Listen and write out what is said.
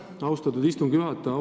Aitäh, austatud istungi juhataja!